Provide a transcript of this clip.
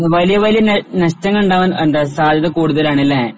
വലിയ വലിയ നഷ്ടങ്ങളുണ്ടാവാൻ എന്താ സാധ്യത കൂടുതലാണ് അല്ലേ?